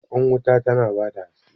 Kwan wuta tana ba da haske.